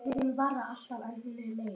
Ég er tómt hylki.